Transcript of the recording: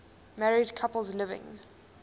married couples living